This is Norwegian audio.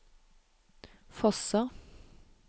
Fosser